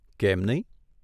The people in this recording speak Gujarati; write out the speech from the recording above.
કેમ નહીં?